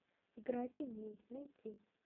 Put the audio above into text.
игра теней найти